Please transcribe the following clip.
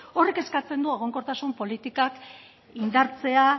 horrek eskatzen du egonkortasun politikak indartzea